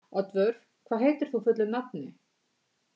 Oddvör, hvað heitir þú fullu nafni?